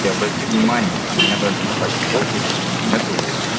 ты обрати внимание у меня даже на пати покере мм нету